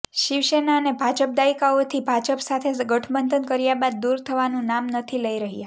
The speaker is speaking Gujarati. શિવસેના અને ભાજપ દાયકાઓથી ભાજપ સાથે ગઠબંધન કર્યા બાદ દૂર થવાનું નામ નથી લઈ રહ્યા